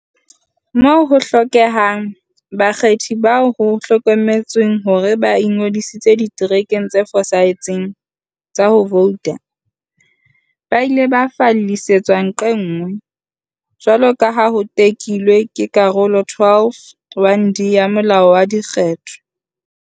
Moo ho hlokehang, bakgethi bao ho hlokometsweng hore ba ingodisitse diterekeng tse fosahetseng tsa ho vouta ba ile ba fallisetswa nqe nngwe, jwaloka ha ho tekilwe ke Karolo 12, 1, d, ya Molao wa Dikgetho.